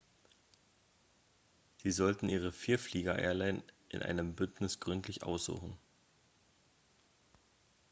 sie sollten ihre vielflieger-airline in einem bündnis gründlich aussuchen